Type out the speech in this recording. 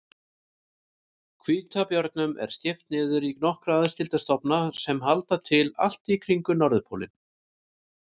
Hvítabjörnum er skipt niður í nokkra aðskilda stofna sem halda til allt í kringum norðurpólinn.